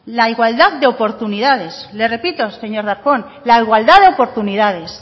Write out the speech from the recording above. la igualdad de oportunidades le repito señor darpón la igualdad de oportunidades